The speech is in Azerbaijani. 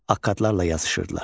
Akkadlarla yazışırdılar.